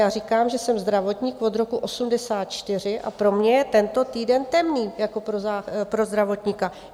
Já říkám, že jsem zdravotník od roku 1984, a pro mě je tento týden temný jako pro zdravotníka.